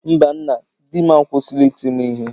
mba nna, dim akwụsịla iti m ihe